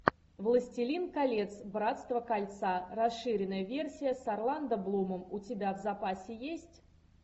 властелин колец братство кольца расширенная версия с орландо блумом у тебя в запасе есть